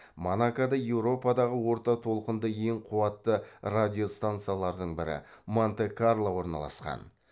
монакода еуропадағы орта толқынды ең қуатты радиостансалардың бірі монте карло орналасқан